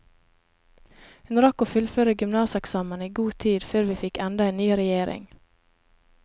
Hun rakk å fullføre gymnaseksamen i god tid før vi fikk enda en ny regjering.